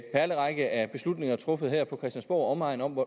perlerække af beslutninger truffet her på christiansborg og omegn om